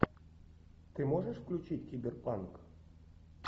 ты можешь включить киберпанк